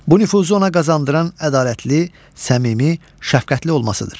Bu nüfuzu ona qazandıran ədalətli, səmimi, şəfqətli olmasıdır.